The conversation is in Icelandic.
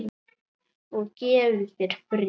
Og gefi þér frið.